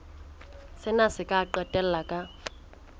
sena se ka qetella ka